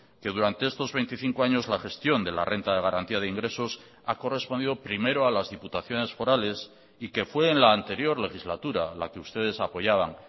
que durante estos veinticinco años la gestión de la renta de garantía de ingresos ha correspondido primero a las diputaciones forales y que fue en la anterior legislatura la que ustedes apoyaban